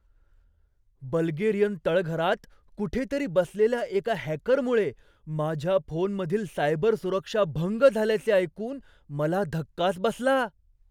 Bulgarian तळघरात कुठेतरी बसलेल्या एका हॅकरमुळे माझ्या फोनमधील सायबर सुरक्षा भंग झाल्याचे ऐकून मला धक्काच बसला.